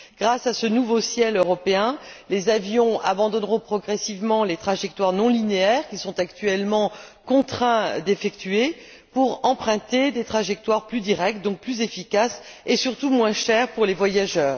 Grâce à ce nouveau ciel européen, les avions abandonneront progressivement les trajectoires non linéaires qu'ils sont actuellement contraints d'effectuer pour emprunter des trajectoires plus directes, donc plus efficaces et surtout moins chères pour les voyageurs.